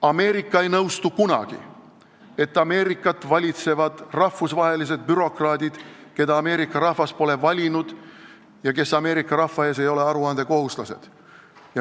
Ameerika ei nõustu kunagi, et Ameerikat valitsevad rahvusvahelised bürokraadid, keda Ameerika rahvas pole valinud ja kes ei ole Ameerika rahva ees aruandekohuslased.